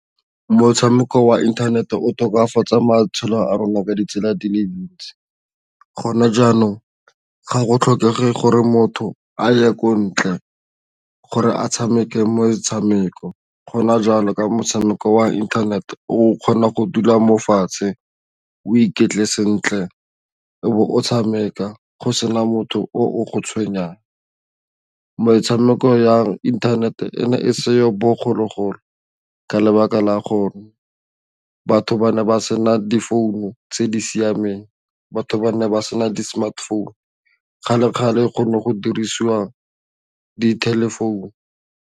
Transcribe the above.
Motshameko wa inthanete o tokafatsa matshelo a rona ka ditsela di le dintsi gona jaanong ga go tlhokege gore motho a ye ko ntle gore a tshameke motshameko gona jalo ka motshameko wa inthanete o kgona go dula mo fatshe o iketle sentle o bo o tshameka go sena motho o go tshwenyang, metshameko ya internet e ne e seyo bogologolo ka lebaka la gore batho ba ne ba sena di founu tse di siameng batho ba ne ba sena di smartphone kgale-kgale go ne go dirisiwa di-telephone.